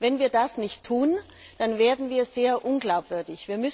Wenn wir das nicht tun, werden wir sehr unglaubwürdig.